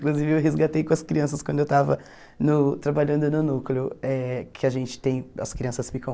Inclusive eu resgatei com as crianças quando eu estava no trabalhando no núcleo, eh que a gente tem, as crianças ficam...